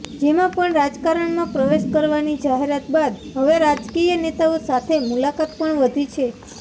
જેમાં પણ રાજકારણમાં પ્રવેશ કરવાની જાહેરાત બાદ હવે રાજકીય નેતાઓ સાથે મુલાકાત પણ વધી છે